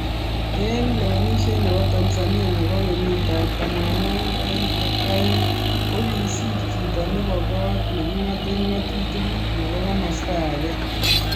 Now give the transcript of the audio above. Eng lewenishet nebo Tanzania nebo kenyit ab tamanwakik aeng ak aeng kokisir chito nebo kot nekingate ngatutik nebo komasta ake